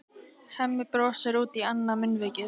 Hemmi brosir út í annað munnvikið.